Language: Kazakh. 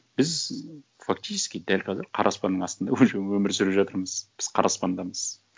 біз фактически дәл қазір қара аспанның астында уже өмір сүріп жатырмыз біз қара аспандамыз